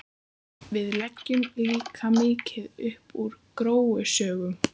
Við leggjum líka mikið upp úr gróusögum.